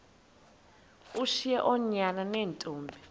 ushiye oonyana neentombi